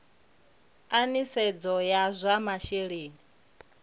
a nisedzo ya zwa masheleni